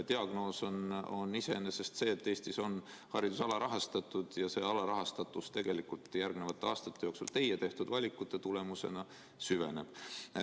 Diagnoos on iseenesest see, et Eestis on haridus alarahastatud ja see alarahastatus tegelikult järgnevate aastate jooksul teie tehtud valikute tulemusena süveneb.